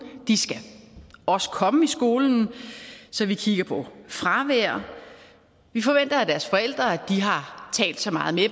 de skal også komme i skolen så vi kigger på fravær vi forventer af deres forældre at de har talt så meget med